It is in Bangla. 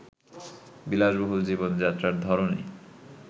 বিলাসবহুল জীবনযাত্রার ধরনই